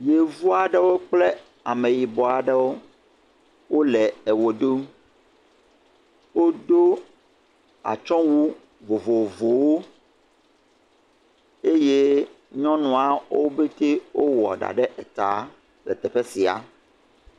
yevu aɖewo kple ameyibɔ aɖewo wóle ɣe ɖum wodó atsɔwu vovovowo eye nyɔnua wó pɛtɛ wɔ ɖa ɖe ta le teƒe sia